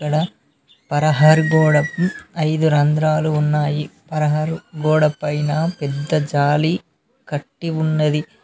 అక్కడ పరహారు గోడకు ఐదు రంధ్రాలు ఉన్నాయి పరహారు గోడ పైన పెద్ద జాలి కట్టి ఉన్నది.